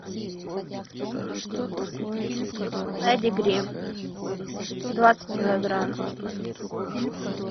педигри двадцать килограмм